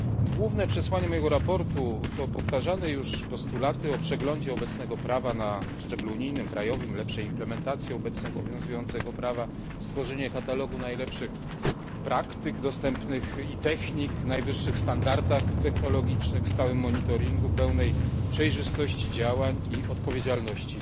Główne przesłanie mojego sprawozdania to powtarzane już postulaty o przeglądzie obecnego prawa na szczeblu unijnym, krajowym, lepszej implementacji obecnie obowiązującego prawa, stworzeniu katalogu najlepszych dostępnych praktyk i technik, najwyższych standardach technologicznych, stałym monitoringu, pełnej przejrzystości działań i odpowiedzialności